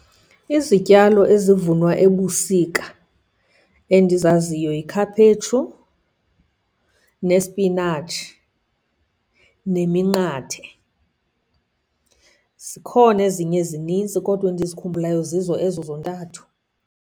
Izityalo ezivunwa ebusika endizaziyo yikhaphetshu nesipinatshi neminqathe. Zikhona ezinye zininzi kodwa endizikhumbulayo zizo ezo zontathu.